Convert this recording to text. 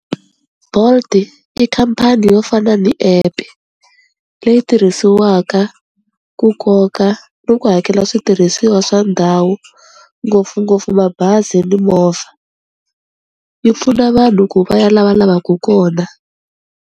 Bolt i khampani yo fana ni epe leyi tirhisiwaka ku koka ni ku hakela switirhisiwa swa ndhawu ngopfungopfu mabazi ni movha, yi pfuna vanhu ku va ya la va lavaku kona.